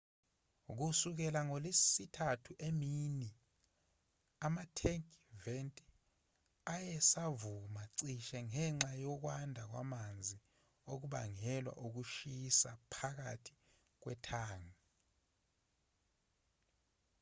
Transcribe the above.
kusukela ngolwesithathu emini ama-tank vent ayesavuza cishe ngenxa yokwanda kwamanzi okubangelwa ukushisa phakathi kwethangi